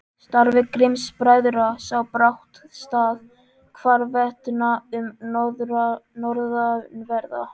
Starfi Grimms-bræðra sá brátt stað hvarvetna um norðanverða